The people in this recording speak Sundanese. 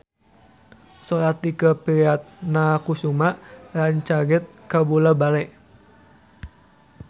Sora Tike Priatnakusuma rancage kabula-bale